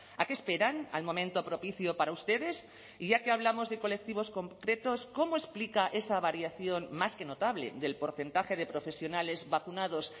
a qué esperan al momento propicio para ustedes y ya que hablamos de colectivos concretos cómo explica esa variación más que notable del porcentaje de profesionales vacunados